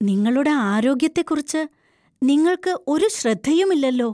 നിങ്ങളുടെ ആരോഗ്യത്തെക്കുറിച്ച് നിങ്ങള്‍ക്ക് ഒരു ശ്രദ്ധയുമില്ലല്ലോ!